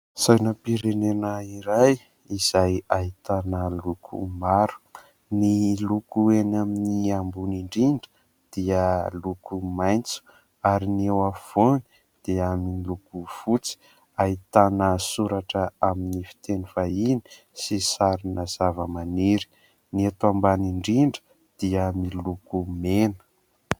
Sainam-prenena iray izay ahitana loko maro. Ny loko eny amin'ny ambony indrindra dia loko maitso ary ny eo afovoany dia miloko fotsy. Ahitana soratra amin'ny fiteny vahiny sy sarina zavamaniry. Ny eto ambany indrindra dia miloko mena.